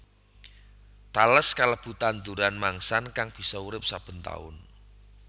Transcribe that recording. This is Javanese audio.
Tales kalebu tanduran mangsan kang bisa urip saben taun